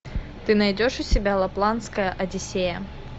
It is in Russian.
ты найдешь у себя лапландская одиссея